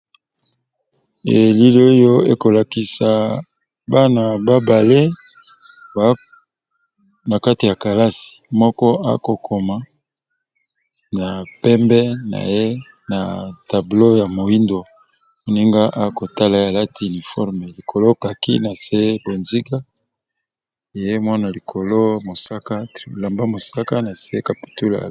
elili oyo ekolakisa bana babale na kati ya kalasi moko akokoma na pembe na ye na tablo ya moindo moninga akotala alati iniforme likolokaki na se bonziga ye mwana likolo ilamba mosaka na nse capitula